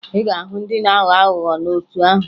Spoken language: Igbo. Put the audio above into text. Ị ga-ahụ ọtụtụ ndị na-aghọ aghụghọ n'otu ahụ